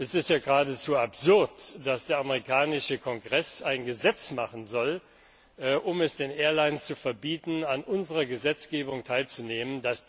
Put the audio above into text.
Es ist ja geradezu absurd, dass der amerikanische Kongress ein Gesetz machen soll, um es den Airlines zu verbieten, an unserer Gesetzgebung teilzunehmen.